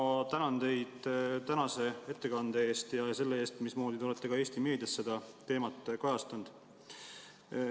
Ma tänan teid tänase ettekande eest ja selle eest, mismoodi te olete ka Eesti meedias seda teemat kajastanud.